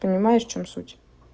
понимаешь в чём суть